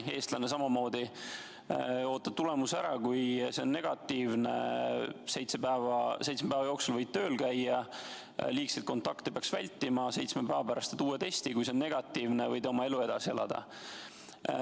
Eestlaste puhul on samamoodi – ootad tulemuse ära, kui see on negatiivne, siis seitsme päeva jooksul võid tööl käia, liigseid kontakte peaks vältima, seitsme päeva pärast teed uue testi, kui see on ka negatiivne, võid oma elu edasi elada.